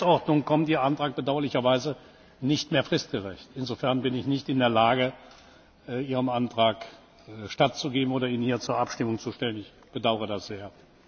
Nach der Geschäftsordnung kommt Ihr Antrag bedauerlicherweise nicht mehr fristgerecht, insofern bin ich nicht in der Lage, Ihrem Antrag stattzugeben oder ihn hier zur Abstimmung zu stellen. Ich bedaure dies sehr.